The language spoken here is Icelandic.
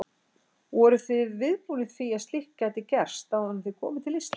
Voruð þið viðbúnir því að slíkt gæti gerst áður en þið komuð til Íslands?